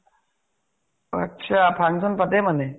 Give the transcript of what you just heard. আত্ছা। function পাতে মানে?